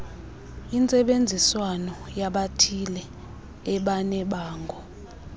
intsebenziswano yabathile ebanebango